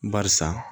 Barisa